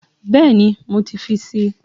Bẹ́ẹ̀ni, mo ti fi si